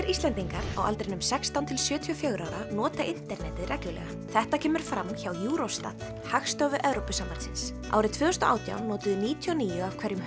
Íslendingar á aldrinum sextán til sjötíu og fjögurra ára nota internetið reglulega þetta kemur fram hjá Eurostat Hagstofu Evrópusambandsins árið tvö þúsund og átján notuðu níutíu og níu af hverjum